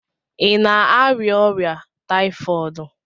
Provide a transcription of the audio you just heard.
Ị na-arịa ọrịa taifọdụ?